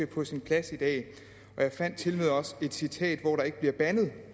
på sin plads i dag og jeg fandt tilmed også et citat hvor der ikke bliver bandet